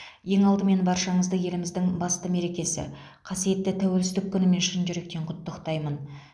ең алдымен баршаңызды еліміздің басты мерекесі қасиетті тәуелсіздік күнімен шын жүректен құттықтаймын